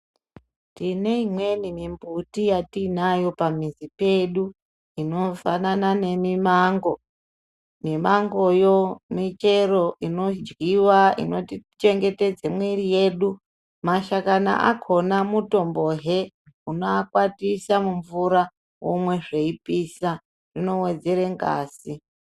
Tine imweni mimbuti yatinayo pamizi pedu, inofanana nemimango, mimangoyo michero inodyiwa, inotichengetedze mwiri yedu, mashakani akona mutombohe unoakwatisa mumvura omwe zveyipisa, unowedzere ngazi.